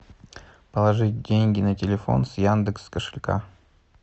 положить деньги на телефон с яндекс кошелька